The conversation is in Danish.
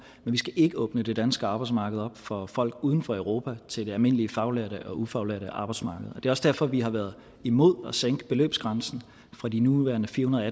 vi skal ikke åbne det danske arbejdsmarked op for folk uden for europa til det almindelige faglærte og ufaglærte arbejdsmarked det er også derfor vi har været imod at sænke beløbsgrænsen fra de nuværende firehundrede